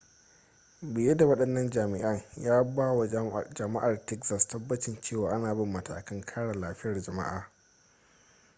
biye da wadannan jami'an ya ba wa jama'ar texas tabbacin cewa ana bin matakan kare lafiyar jama'a